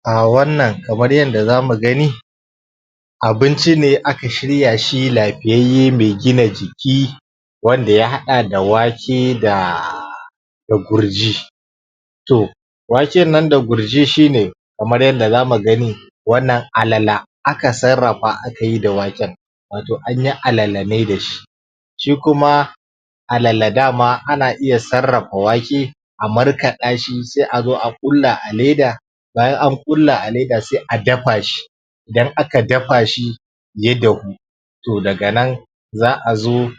A wannan kamar yadda zamu gani abinci ne aka shirya shi lafiyayye me gina jiki wanda ya haɗa da wake da gurji to waken nan da gurji shi ne kamar yadda zamu gani wannan alala aka sarrafa aka yi da waken wato an yi alala ne da shi shi kuma alala dama ana iya sarrafa wake a markaɗa shi, sai a zo a ƙulla a leda bayan an ƙulla a leda sai a dafa shi idan aka dafa shi ya dahu to daga nan za'a zo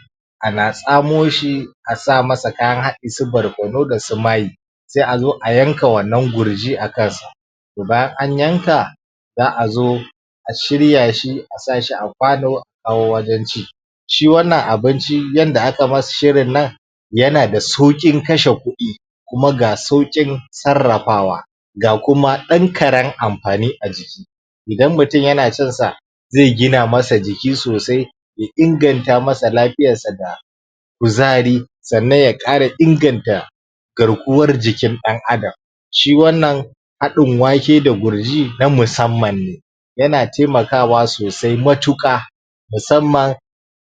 ana tsamo shi a sa masa kayan haɗi su barkono da su mai sai a zo a yanka wannan gurji a kan sa bayan an yanka za'a zo a shirya shi, a sa shi a kwano a wannan ji shi wannan abinci yadda aka masa shirin nan yana da sauƙin kashe kuɗi kuma ga sauƙin sarrafawa ga kuma ɗan karen amfani a jiki idan mutun yana cin sa zai gina masa jiki sosai ya inganta masa lafiyan sa da kuzari sannan ya ƙara inganta garkuwar jikin ɗan'adam shi wannan haɗin wake da gurji na musamman ne yana taimakawa sosai matuƙa musamman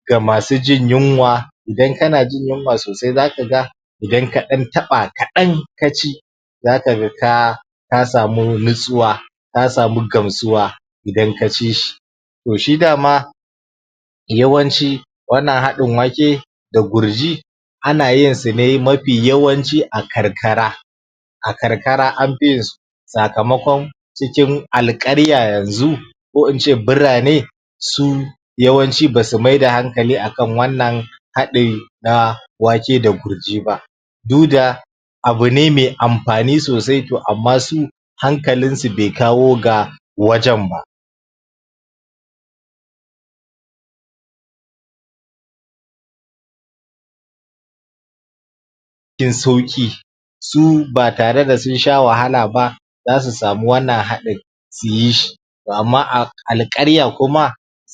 ga masu jin yunwa idan kana jin yunwa sosai zaka ga idan ka ɗan taɓa kaɗan ka ci zaka ga ka ka samu nutsuwa ka samu gamsuwa idan ka ci shi to shi dama yawanci wannan haɗin wake da gurji ana yin su ne mafi yawanci a karkara a karkara an fi yin su sakamakon cikin alƙarya yanzu ko in ce birane su yawanci basu maida hankali akan wannan haɗin na wake da gurji ba du da abu ne me amfani sosai to amma su hankalin su bai kawo ga wajen ba cikin sauƙi su ba tare da sun sha wahala ba zasu samu wannan haɗin su yi shi to amma a alƙarya kuma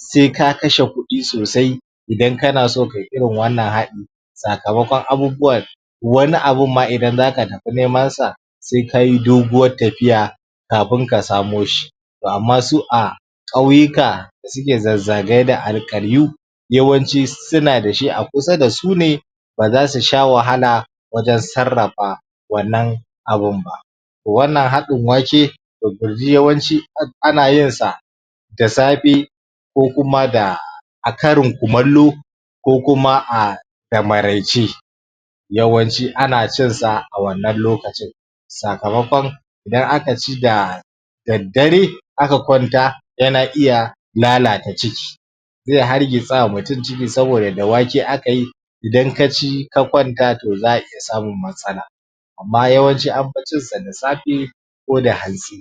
sai ka kashe kuɗi sosai idan kana so kayi irin wannan haɗin sakamakon abubuwa wani abun ma idan zaka tafi neman sa sai ka yi doguwar tafiya kafin ka samo shi to amma su a ƙauyuka suke zazzagaye da alkaryu yawancin su suna da shi a kusa da su ne ba zasu sha wahala wajen sarrafa wannan abun ba wannan haɗin wake da gurji yawanci ana yin sa da safe ko kuma da, a karin kumallo ko kuma a da maraice yawanci ana cin sa a wannan lokacin sakamakon in aka ci da daddare aka kwanta yana iya lalata ciki zai hargitsa ma mutun ciki, saboda da wake aka yi idan ka ci ka kwanta to za'a iya samun matsala amma yawanci an fi cin su da safe ko da hantsi.